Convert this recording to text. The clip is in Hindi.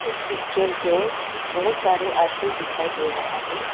इस पिक्चर में बहोत सारे आदमी दिखाई दे रहा है।